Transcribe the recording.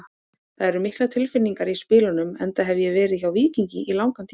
Það eru miklar tilfinningar í spilunum enda hef ég verið hjá Víkingi í langan tíma.